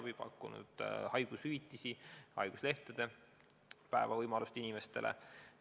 Oleme pakkunud haigushüvitisi, võimalust haiguslehel olles hüvitist saada esimesest päevast alates.